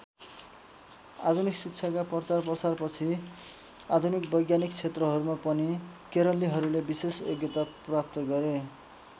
आधुनिक शिक्षाका प्रचारप्रसारपछि आधुनिक वैज्ञानिक क्षेत्रहरूमा पनि केरलीहरूले विशेष योग्यता प्राप्त गरे।